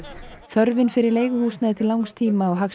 þörfin fyrir leiguhúsnæði til langs tíma á